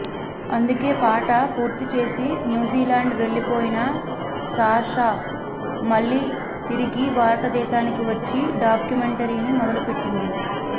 అందుకే పాట పూర్తిచేసి న్యూజిలాండ్ వెళ్లిపోయిన సాషా మళ్లీ తిరిగి భారతదేశానికి వచ్చి డాక్యుమెంటరీని మొదలుపెట్టింది